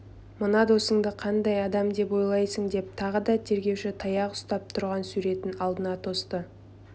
мына досыңды қандай адам деп ойлайсың деп тағы да тергеуші таяқ ұстап тұрған суретін алдына тосты